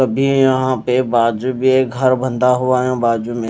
अभी यहां पे बाजू भी घर बंधा हुआ है बाजू में--